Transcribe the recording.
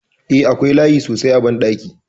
Eh, akwai layi sosai a bankin.